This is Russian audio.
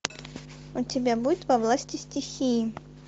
у тебя будет во власти стихии